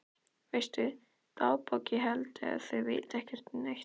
Veistu dagbók ég held að þau viti ekki neitt.